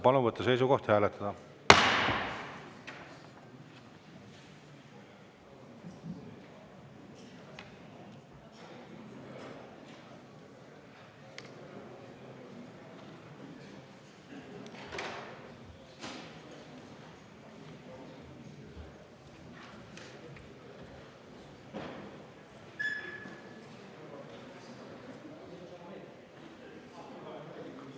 Palun võtta seisukoht ja hääletada!